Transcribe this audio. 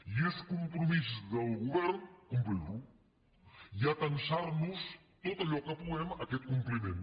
i és compromís del govern complir lo i atansar nos tot allò que puguem a aquest compliment